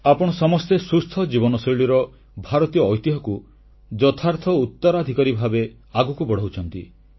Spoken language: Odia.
ଆପଣ ସମସ୍ତେ ସୁସ୍ଥ ଜୀବନଶୈଳୀର ଭାରତୀୟ ଐତିହ୍ୟକୁ ଯଥାର୍ଥ ଉତ୍ତରାଧିକାରୀ ଭାବେ ଆଗକୁ ବଢ଼ାଉଛନ୍ତି